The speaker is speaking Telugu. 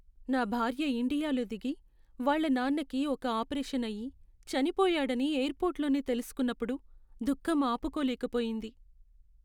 నా భార్య ఇండియాలో దిగి, వాళ్ళ నాన్నకి ఒక ఆపరేషన్ అయి, చనిపోయాడని ఎయిర్పోర్ట్లోనే తెలుసుకున్నప్పుడు దుఖం ఆపుకోలేకపోయింది.